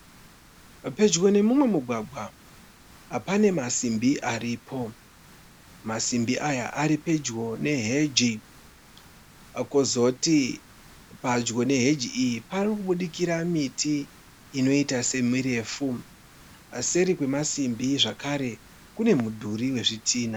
Pedyo nemumwe mugwagwa pane masimbi aripo. Masimbi aya ari pedyo neheji. Kozoti padyo neheji iyi pari kubudikira miti inoita semirefu. Seri kwemasimbi zvekare kune mudhuri wezvitinha.